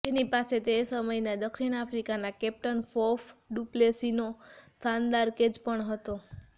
તેની પાસે તે સમયના દક્ષિણ આફ્રિકાના કેપ્ટન ફોફ ડુપ્લેસીનો શાનદાર કેચ પણ હતો